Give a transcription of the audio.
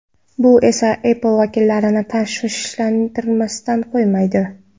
Bu esa Apple vakillarini tashvishlantirmasdan qolmaydi.